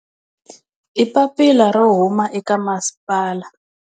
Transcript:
I papila ro huma eka masipala.